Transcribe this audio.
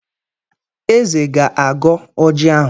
Eze ga-agọ ọjị ahụ.